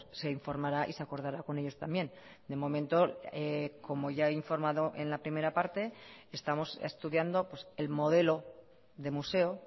se informará y se acordará con ellos también de momento como ya he informado en la primera parte estamos estudiando el modelo de museo